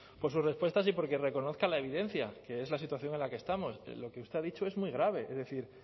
por sus respuestas y por que reconozca la evidencia que es la situación en la que estamos lo que usted ha dicho es muy grave es decir